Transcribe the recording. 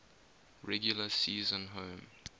regular season home